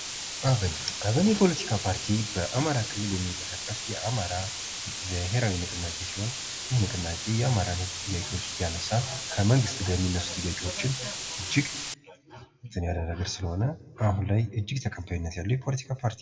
አብን አብን የፖለቲካ ፓርቲ በአማራ ክልል የሚንቀሳቀስ የአማራ ብሔራዊ ንቅናቄ ሲሆን ይህ ንቅናቄ የአማራን ህዝብ ጥያቄ እያነሳ ከመንግስት የሚነሱ ጥያቄዎችን እጅግ እንትን እያደረገ ስለሆነ አሁን ላይ ተቀባይነት ያለው የፖለቲካ ፓርቲ ነው።